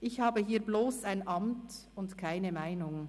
«Ich habe hier bloss ein Amt und keine Meinung.